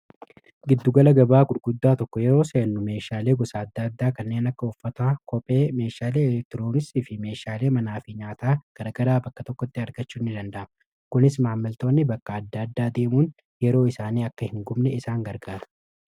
Giddugala gabaa gurguddaa tokko yeroo seennu meeshaalee gosa adda addaa kanneen akka uffata kophee meeshaale elektiroonisi fi meeshaalee manaafi nyaataa garagaraa bakka tokkotti argachuu ni danda'ama. kunis maamiltoonni bakka adda addaa deemuun yeroo isaanii akka hin gubne isaan gargaara.